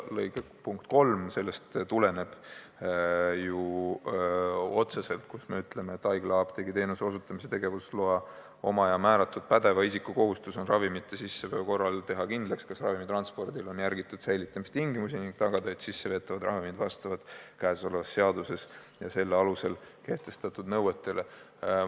Punkt 3 ütleb otseselt, et haiglaapteegiteenuse osutamise tegevusloa omaja määratud pädeva isiku kohustus on ravimite sisseveo korral teha kindlaks, kas ravimi transpordil on järgitud säilitamistingimusi, ning tagada, et sisseveetavad ravimid vastavad selles seaduses ja selle alusel kehtestatud nõuetele.